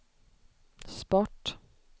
sport